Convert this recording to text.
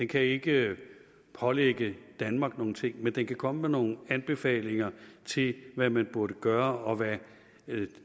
kan ikke pålægge danmark nogen ting men den kan komme med nogle anbefalinger til hvad man burde gøre og hvad